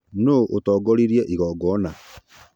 Nũ ũtongorirĩe igongona